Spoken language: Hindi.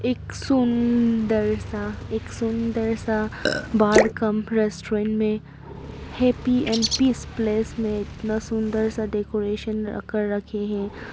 एक सुंदर सा एक सुंदर सा बार कम रेस्टोरेंट में हैप्पी एंड पीस प्लेस में इतना सुंदर सा डेकोरेशन कर रखे हैं।